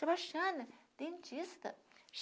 Sebastiana, dentista.